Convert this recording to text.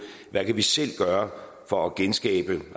hvad vi selv kan gøre for at genskabe